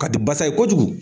Ka di basa ye kojugu.